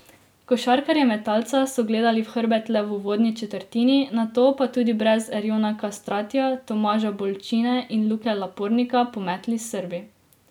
Košarkarje Metalca so gledali v hrbet le v uvodni četrtini, nato pa tudi brez Erjona Kastratija, Tomaža Bolčine in Luke Lapornika pometli s Srbi.